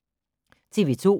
TV 2